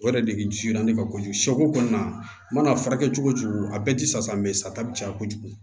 O yɛrɛ de jigina ne ma kojugu kɔni a mana a furakɛ cogo a bɛɛ ti sa sata bi caya kojugu